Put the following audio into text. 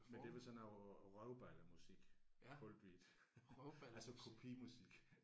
Men det var sådan noget røvballemusik kaldte vi det altså kopimusik